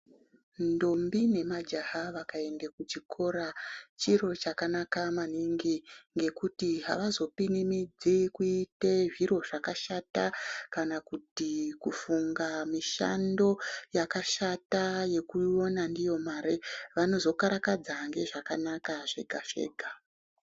Ntombi nemajaha vakaenda kuchikora chiro zvakanaka maningi ngekuti avazopinimidzi kuita zviro zvakashata kana kuti kufunga mishando yakashata yekuona ndiyo mare vanozokarakadza ndezvakanaka zvega zvega.